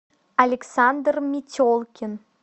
александр метелкин